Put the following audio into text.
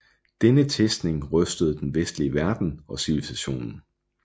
Denne testning rystede den vestlige verden og civilisationen